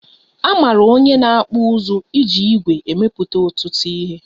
Amara onye na-akpụ ụzụ iji ìgwè emepụta ọtụtụ ihe